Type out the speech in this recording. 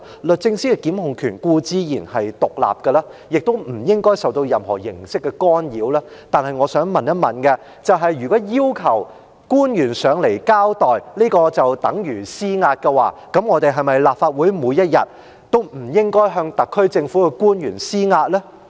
律政司的檢控權固然獨立，亦不應該受到任何形式的干擾，但我想問，如果要求官員來立法會交代便等於施壓，立法會是否每天都不應該向特區政府的官員施壓呢？